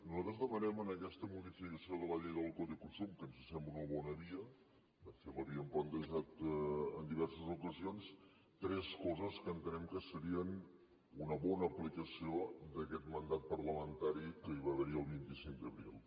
nosaltres demanem en aquesta modificació de la llei del codi de consum que ens sembla una bona via de fet l’havíem plantejat en diverses ocasions tres coses que entenem que serien una bona aplicació d’aquest mandat parlamentari que hi va haver el vint cinc d’abril